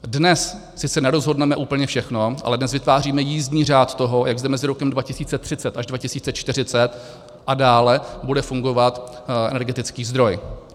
Dnes sice nerozhodneme úplně všechno, ale dnes vytváříme jízdní řád toho, jak zde mezi rokem 2030 až 2040 a dále bude fungovat energetický zdroj.